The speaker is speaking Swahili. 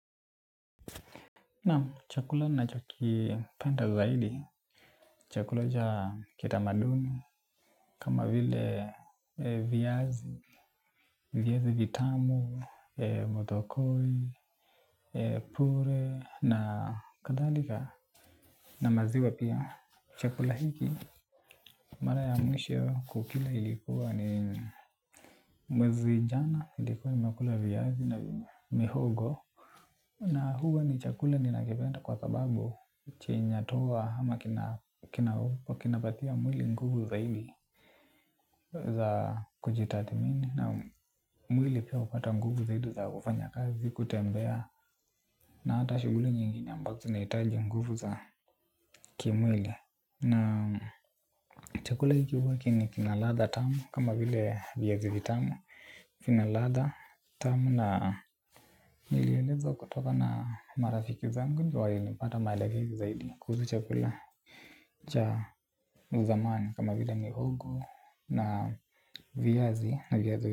Naam, chakula nachokipenda zaidi, chakula cha kitamadumi, kama vile viazi, viazi vitamu, motokoi, pure na kadhalika. Na maziwa pia, chakula hiki, mara ya mwisho kukila ilikuwa ni mwezi jana, ilikuwa nimekula viazi na mihogo. Na huwa ni chakula ninakipenda kwa sababu chenye inatoa ama kinapatia mwili nguvu zaidi za kujitathmini. Naam mwili pia hupata nguvu zaidi za ufanyakazi kutembea. Na hata shughuli nyingine ambazo zinahitaji nguvu za kimwili. Na chakula hiki huwa kina kina ladha tamu kama vile viazi vitamu. Kina ladha tamu na nilieleza kutoka na marafiki zangu walinipasha maandalizi zaidi kuhusu chakula cha zamani kama vile mihogo na viazi na viazi.